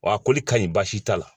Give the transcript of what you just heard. Wa a koli ka ɲi baasi t'a la